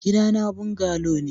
Gidana bungalow ne.